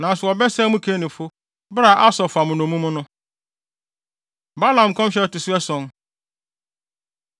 Nanso wɔbɛsɛe mo Kenifo bere a Asur fa mo nnommum no.” Balaam Nkɔmhyɛ A Ɛto So Ason